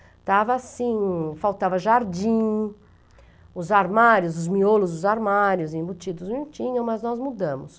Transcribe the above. Estava assim, faltava jardim, os armários, os miolos, os armários embutidos não tinham, mas nós mudamos.